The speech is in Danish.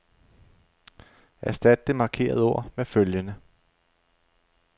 Erstat det markerede ord med følgende.